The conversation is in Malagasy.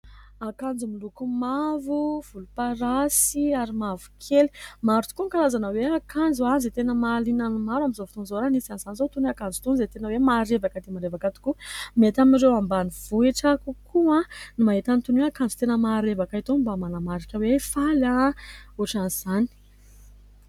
Akanjo miloko mavo, volomparasy ary mavokely. Maro tokoa ny karazana hoe akanjo izay tena mahaliana ny maro amin'izao fotoan'izao ; anisany izany izao itony akanjo itony izay tena hoe marevaka dia marevaka tokoa. Mety amin'ireo ambanivohitra kokoa ny mahita an'itony akanjo tena marevaka itony mba manamarika hoe faly ohatran'izany.